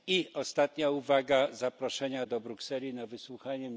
I ostatnia uwaga na temat zaproszenia do Brukseli na wysłuchanie.